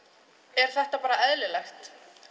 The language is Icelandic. er þetta bara eðlilegt